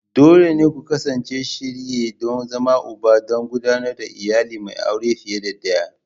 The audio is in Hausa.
Dole ne ku kasance a shirye don zama Uba don gudanar da iyali mai aure fiye da ɗaya.